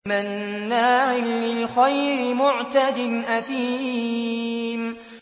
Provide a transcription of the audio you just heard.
مَّنَّاعٍ لِّلْخَيْرِ مُعْتَدٍ أَثِيمٍ